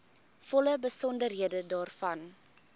volle besonderhede daarvan